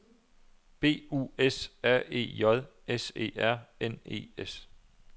B U S R E J S E R N E S